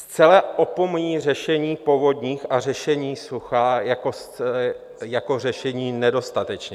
Zcela opomíjí řešení povodní a řešení sucha jako řešení nedostatečné.